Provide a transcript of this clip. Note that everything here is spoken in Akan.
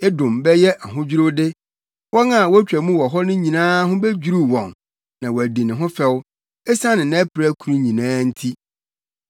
“Edom bɛyɛ ahodwiriwde; wɔn a wotwa mu wɔ hɔ no nyinaa ho bedwiriw wɔn na wɔadi ne ho fɛw esiane nʼapirakuru nyinaa nti.